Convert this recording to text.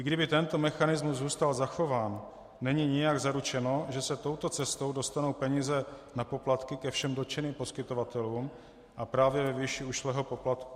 I kdyby tento mechanismus zůstal zachován, není nijak zaručeno, že se touto cestou dostanou peníze na poplatky ke všem dotčeným poskytovatelům a právě ve výši ušlého poplatku.